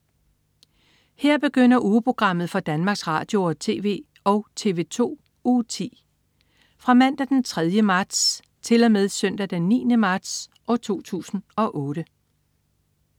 Her begynder ugeprogrammet for Danmarks Radio- og TV og TV2 Uge 10 Fra Mandag den 3. marts 2008 Til Søndag den 9. marts 2008